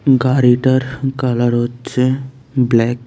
গাড়িটার কালার হচ্ছে ব্ল্যাক ।